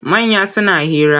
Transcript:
Manya suna hira.